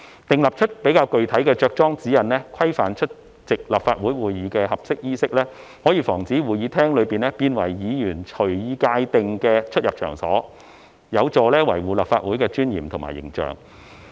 訂出較具體的着裝指引，規範出席立法會會議的合適衣飾，可防止會議廳變為議員隨意界定的出入場所，有助維護立法會的尊嚴及形象。